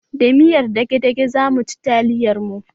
Da miyar dage-dage zamu ci taliyar mu